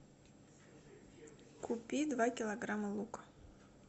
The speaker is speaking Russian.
купи два килограмма лука